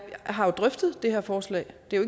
har jo drøftet det her forslag det er